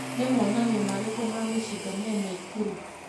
Nĩ monanio marĩkũ ma mĩcinga me Naĩkurũ?